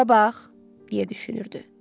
Bura bax, deyə düşünürdü.